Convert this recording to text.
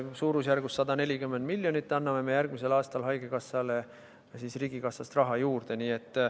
Umbes 140 miljonit eurot anname me järgmisel aastal haigekassale riigikassast raha juurde.